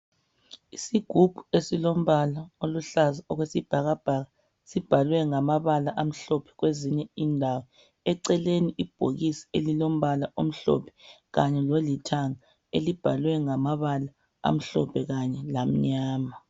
Isigubhu esilombala oluhlaza okwesibhakabhaka sibhalwe ngamabala amhlophe kwezinye indawo, eceleni ibhokisi elilombala omhlophe kanye lolithanga, elibhalwe ngamabala amhlophe kanye lamnyama.